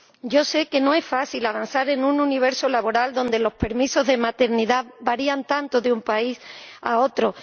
Yo sé que no es fácil avanzar en un universo laboral donde los permisos de maternidad varían tanto de un país a otro.